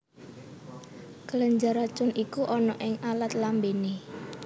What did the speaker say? Kelenjar racun iku ana ing alat lambéné